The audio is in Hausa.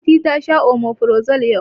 Fati ta sha omeferazole yau